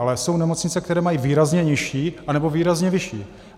Ale jsou nemocnice, které mají výrazně nižší, anebo výrazně vyšší.